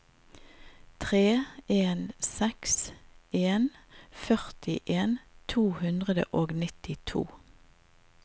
tre en seks en førtien to hundre og nittito